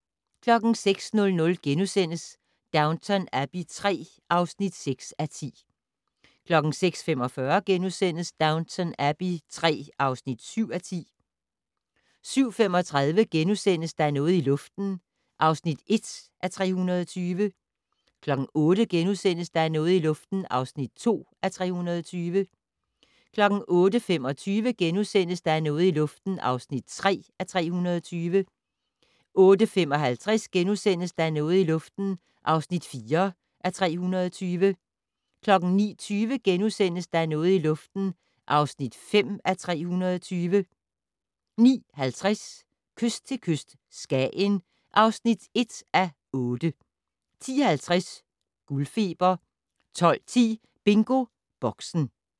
06:00: Downton Abbey III (6:10)* 06:45: Downton Abbey III (7:10)* 07:35: Der er noget i luften (1:320)* 08:00: Der er noget i luften (2:320)* 08:25: Der er noget i luften (3:320)* 08:55: Der er noget i luften (4:320)* 09:20: Der er noget i luften (5:320)* 09:50: Kyst til kyst - Skagen (1:8) 10:50: Guldfeber 12:10: BingoBoxen